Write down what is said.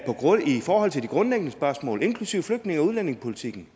forhold til de grundlæggende spørgsmål inklusive flygtninge og udlændingepolitikken